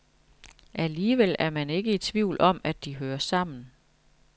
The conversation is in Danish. Alligevel er man ikke i tvivl om, at de hører sammen.